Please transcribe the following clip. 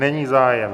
Není zájem.